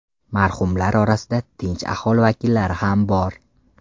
Marhumlar orasida tinch aholi vakillari ham bor.